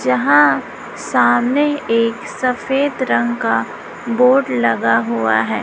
जहां सामने एक सफेद रंग का बोर्ड लगा हुआ है।